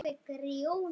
Nefnt skal eitt dæmi.